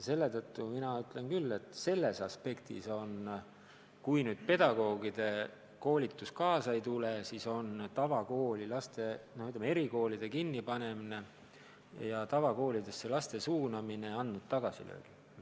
Selle tõttu mina ütlen küll, et sellest aspektist lähenedes tundub, et kui pedagoogide koolitus kaasa ei tule, siis on erikoolide kinnipanemine ja laste tavakoolidesse suunamine andnud teatud tagasilöögi.